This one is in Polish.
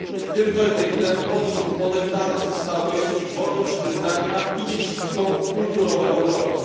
Tym werdyktem podeptane zostały wolność wyznania i dziedzictwo kulturowe Europy.